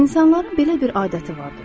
İnsanların belə bir adəti vardır.